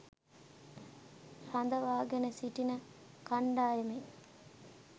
රඳවා ගෙන සිටින කණ්ඩායමෙන්